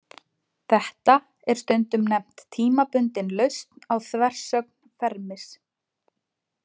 Þetta er stundum nefnt tímabundin lausn á þversögn Fermis.